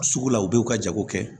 Sugu la u bɛ u ka jago kɛ